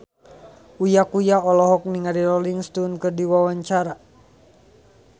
Uya Kuya olohok ningali Rolling Stone keur diwawancara